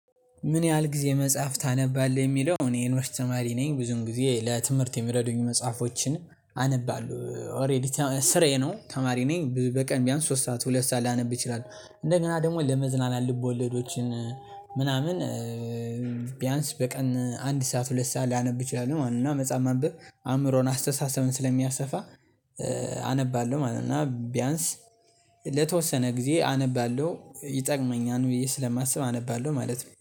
ምን ያህል ጊዜ መጽሐፍ ታነባለህ? የሚለው እኔ የዩንቭርስት ተማሪ ነኝ ብዙን ጊዜ ለትምህርት የሚረዱኝ መጽሐፎችን አነባለሁ። ኦሬዲ ስራዬ ነው ተማሪ ነኝ በቀን ቢያንስ ሶስት ሰዓት ሁለት ሰዓት ላነብ እችላል። እንደገና ደግሞ ለመዝናናል ልቦለዶችን ምናምን ቢያንስ በቀን አንድ ሰዓት ሁለት ሰዓት ሊያነብ እችላል ማለት ነው። እና መጽሐፍ ማንበብ አእምሮን አስተሳሰብን ስለሚያሰፋ አነባለሁ ማለት ነው። እና ቢያንስ ለተወሰነ ጊዜ አነባለሁ ይጠቅመኛል ብዬ ስለማስብ አነባለሁ ማለት ነው